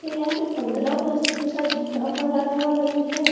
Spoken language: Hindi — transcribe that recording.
में यहाँ पे पंद्रह अगस्त जैसा झंडा पहराने वाला भी है।